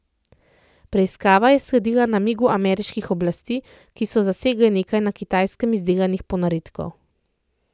Preiskava je sledila namigu ameriških oblasti, ki so zasegle nekaj na Kitajskem izdelanih ponaredkov.